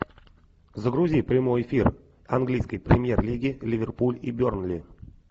загрузи прямой эфир английской премьер лиги ливерпуль и бернли